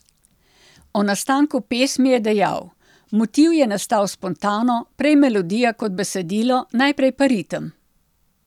O nastanku pesmi je dejal: 'Motiv je nastal spontano, prej melodija kot besedilo, najprej pa ritem.